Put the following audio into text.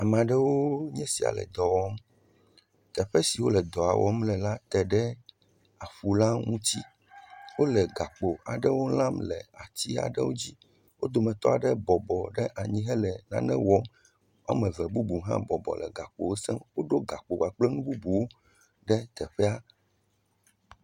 Ŋutsu eve nye gbedewo, wole xɔ ɖe me le dɔwɔm, wole ga tu. Ekpe le fima, nuŋlɔkpe le fima, ŋutsua ɖeka hã tɔ ɖe megbea nawo, wokɔ zã ezã ŋku ɖe kɔ ɖo ɖe ta.